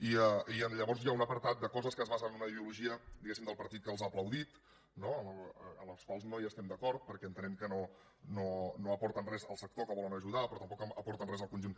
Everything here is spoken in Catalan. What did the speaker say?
i llavors hi ha un apartat de coses que es basen en una ideologia diguem ne del partit que els ha aplaudit no amb les quals no hi estem d’acord perquè entenem que no aporten res al sector que volen ajudar però tampoc aporten res al conjunt